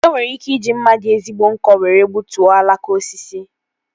E nwere ike iji mma dị ezigbo nkọ were gbutuo alaka osisi